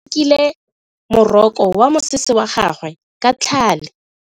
Kutlwano o rokile moroko wa mosese wa gagwe ka tlhale.